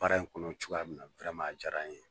Baara in kɔnɔ cogoya min na a dijara n ye